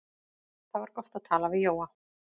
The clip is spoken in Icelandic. Það var gott að tala við Jóa.